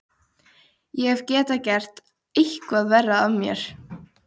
Hvað heldurðu að hann Lási segði, ha, Lóa-Lóa, kallaði hún.